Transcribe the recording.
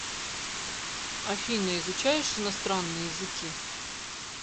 афина изучаешь иностранные языки